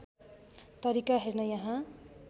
तरिका हेर्न यहाँ